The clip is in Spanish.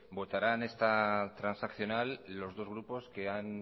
votarán esta transaccional los dos grupos que han